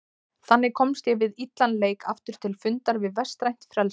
Þannig komst ég við illan leik aftur til fundar við vestrænt frelsi.